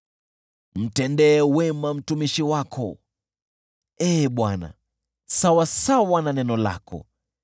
Mtendee wema mtumishi wako Ee Bwana , sawasawa na neno lako.